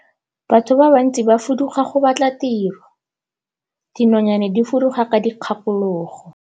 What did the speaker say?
Batho ba bantsi ba fuduga go batla tiro, dinonyane di fuduga ka dikgakologo.